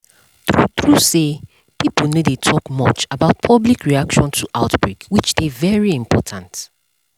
true true say pipo no dey talk much about public reaction to outbreak which dey very important